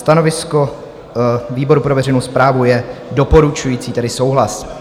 Stanovisko výboru pro veřejnou správu je doporučující, tedy souhlas.